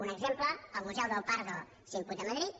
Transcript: un exemple el museu del prado s’imputa a madrid